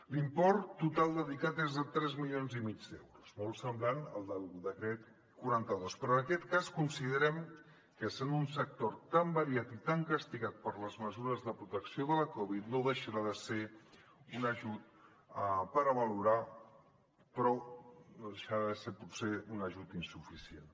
l’import total dedicat és de tres milions i mig d’euros molt semblant al del decret quaranta dos però en aquest cas considerem que sent un sector tan variat i tan castigat per les mesures de protecció de la covid no deixarà de ser un ajut per a valorar però no deixarà de ser potser un ajut insuficient